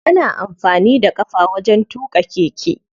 Ana amfani da ƙafa wajen tuƙa keke.